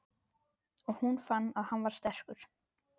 Og hún fann að hann var sterkur.